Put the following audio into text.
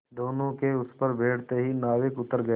दोेनों के उस पर बैठते ही नाविक उतर गया